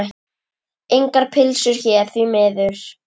Engar pylsur hér, því miður.